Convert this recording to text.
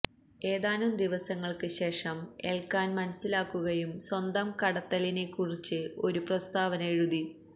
ഏതാനും ദിവസങ്ങൾക്ക് ശേഷം എല്കാൻ മനസിലാക്കുകയും സ്വന്തം കടത്തലിനെക്കുറിച്ച് ഒരു പ്രസ്താവന എഴുതി